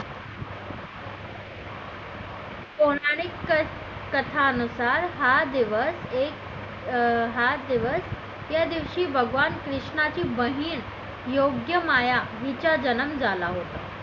पौराणिक कथा नुसार हा दिवस एक अं हा दिवस या दिवशी भगवान कृष्णाची बहीण योग्य माया हिचा जन्म झाला होता.